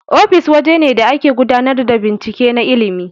Ofis waje ne da ake gudanar da binciken na ilmin